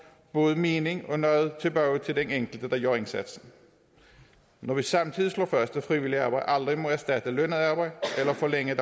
både mening og noget tilbage til den enkelte der gør indsatsen når vi samtidig slår fast at frivilligt arbejde aldrig må erstatte lønnet arbejde eller forlænge